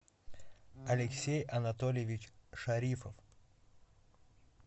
алексей анатольевич шарифов